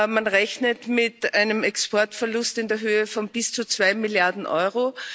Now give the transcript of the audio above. Man rechnet mit einem Exportverlust in der Höhe von bis zu 2 Milliarden Euro.